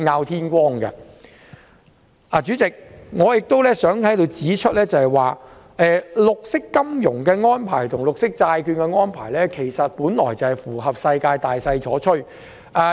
代理主席，我亦想在此指出，發展綠色金融和發行綠色債券在國際上是大勢所趨。